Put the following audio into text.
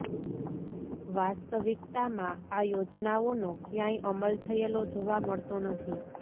વાસ્તવિકતામાં આ યોજનાઓનો કયાંય અમલ થયેલો જોવા મળતો નથી